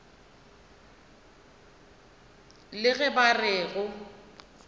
le ge ba re go